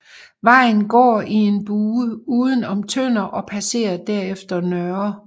Vejen går i en bue uden om Tønder og passere derefter Ndr